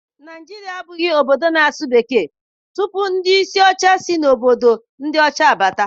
Naijiria abụghị obodo na-asụ asụsụ Bekee tupu ndị isi ọchịchị si na obodo ndị ọcha abata.